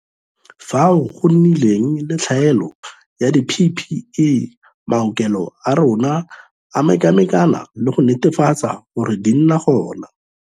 Fao go nnileng le tlhaelo ya di-PPE, maokelo a rona a mekamekane le go netefatsa gore di nna gona.